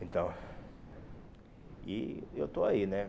Então... E eu estou aí, né?